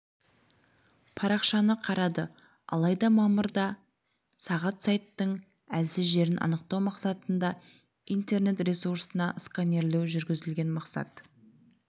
парақшаны қарады алайда мамырда сағат сайттың әлсіз жерін анықтау мақсатында интернет ресурсына сканерлеу жүргізілген мақсат